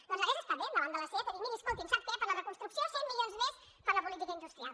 doncs hagués estat bé davant de la seat de dir miri escoltin saben què per a la reconstrucció cent milions més per a la política industrial